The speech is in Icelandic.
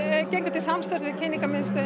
gengum til samstarfs við Kynningarmiðstöð